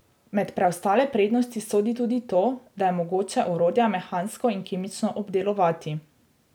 Med preostale prednosti sodi tudi to, da je mogoče orodja mehansko in kemično obdelovati.